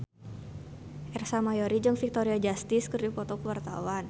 Ersa Mayori jeung Victoria Justice keur dipoto ku wartawan